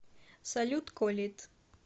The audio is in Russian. салют колид